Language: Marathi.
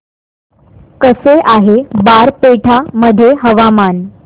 कसे आहे बारपेटा मध्ये हवामान